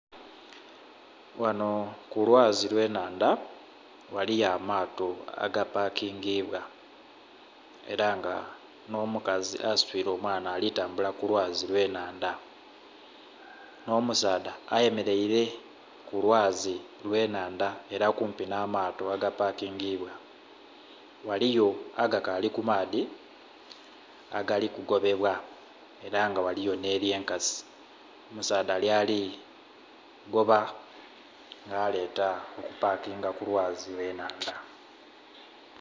Ghanho ku lwazi lwe nhandha ghaliyo amato aga pakingibwa era nga nho mukazi asitwire omwaana ali tambula ku lwazi lwe nhandha enho musaadha ayemereire ku lwazi lwe nhandha era kumpi nha mato aga pakingibwa . Ghaliyo agakali ku maadhi agali ku gobebwa era nga ghaliyo nhe lye nkasi, omusaadha lyali kugoba nga aleta okupakinga ku lwazi lwe nhandha.